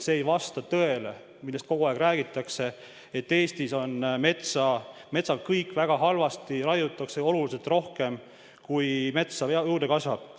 See ei vasta tõele, millest kogu aeg räägitakse: et Eestis on metsaga kõik väga halvasti, raiutakse oluliselt rohkem, kui metsa juurde kasvab.